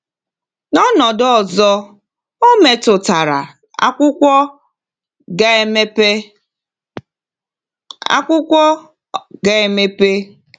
“N’ọnọdụ ọzọ, ọ metụtara ‘akwụkwọ’ ga-emepe.” ‘akwụkwọ’ ga-emepe.”